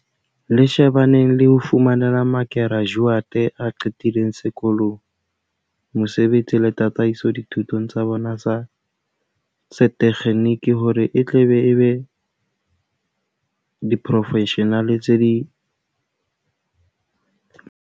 Le shebaneng le ho fumanela ma kerajuate a qetileng sekolong mosebetsi le tataiso dithutong tsa bona tsa setekgeniki hore e tle e be diporofeshenale tse ngodisitsweng.